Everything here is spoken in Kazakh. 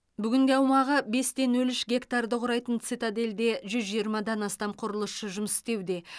бүгінде аумағы бес те нөл үш гектарды құрайтын цитадельде жүз жиырмадан астам құрылысшы жұмыс істеуде